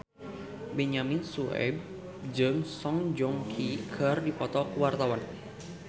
Benyamin Sueb jeung Song Joong Ki keur dipoto ku wartawan